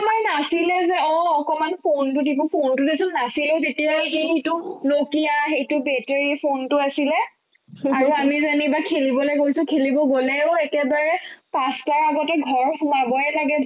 আমাৰ নাছিলে যে অ' অকনমান ফোনতো দিব ফোনতো যেচোন নাছিলে তেতিয়াই সেইটো nokia সেইটো battery ফোনতো আছিলে আৰু আমি যানিবা খেলিবলৈ গ'লতো খেলিব গ'লেও একেবাৰে পাঁচটাৰ আগতে ঘৰ সোমাবয়ে লাগে